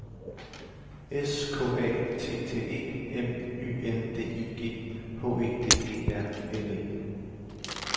S K A T T E M Y N D I G H E D E R N E